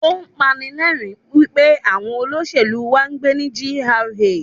Ó pani lẹ́rìń wípé àwọn olóṣèlú wá ń gbé ní GRA.